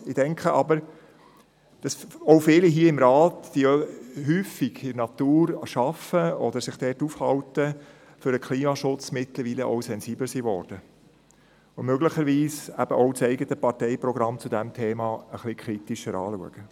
Ich denke jedoch, dass auch viele Ratsmitglieder, die häufig in der Natur arbeiten oder sich dort aufhalten, mittlerweile für den Klimaschutz sensibler worden sind, und möglicherweise auch das eigene Parteiprogramm zu diesem Thema ein wenig kritischer anschauen.